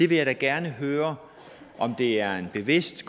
vil da gerne høre om det er bevidst